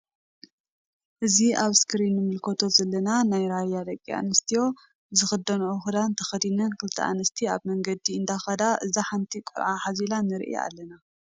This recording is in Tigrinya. እዚ ኣብ እስክሪን ንምልከቶ ዘለና ናይ ራያ ደቂ ኣንስትዮ ዝክድንኦ ክዳን ተከዲነን ክልተ ኣንስቲ ኣብ መንገዲ እንዳ ከዳ እዛ ሓንቲ ቆልዓ ሓዚላ ንርኢ ኣለና።